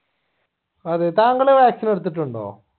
അതെ താങ്കള് vaccine എടുത്തിട്ടുണ്ടോ